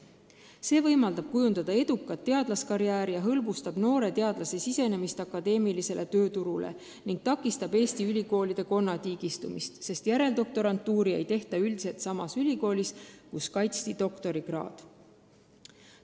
See võimaldab teha edukat teadlaskarjääri, hõlbustab noorte teadlaste sisenemist akadeemilisele tööturule ning takistab Eesti ülikoolide konnatiigistumist, sest järeldoktorantuuri ei tehta üldiselt samas ülikoolis, kus kaitsti doktorikraad.